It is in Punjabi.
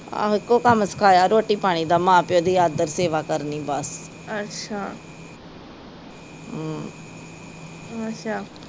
ਆਹੋ ਇੱਕੋ ਕੰਮ ਸਿਖਾਇਆ ਰੋਟੀ ਪਾਣੀ ਦਾ ਮਾਂ ਪਿਓ ਦੀ ਆਦਰ ਸੇਵਾ ਕਰਨੀ ਬਸ ਹਮ